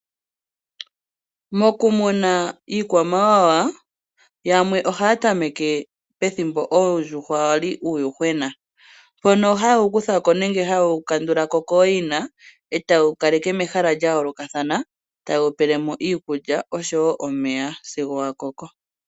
Mokumuna iikwamawawa yamwe ohaya tameke pethimbo oondjuhwa dha li uuyuhwena, mpono haye wu kutha ko nenge haye wo kandula ko kooyina, e taye wu kaleke mehala lya yoolokathana, e taye wu pele mo iikulya osho woo omeya sigo wa koko.